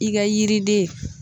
I ka yiriden